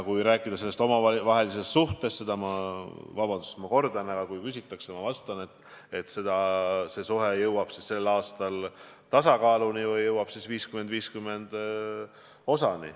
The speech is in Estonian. Kui rääkida sellest suhtest, seda, vabandust, et ma seda kordan, aga kui on küsitud, siis ma vastan, et see suhe jõuab sel aastal tasakaaluni 50 : 50.